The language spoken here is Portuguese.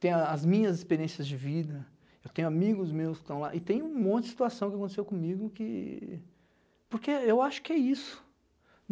tem a as minhas experiências de vida, eu tenho amigos meus que estão lá e tem um monte de situação que aconteceu comigo que... porque eu acho que é isso.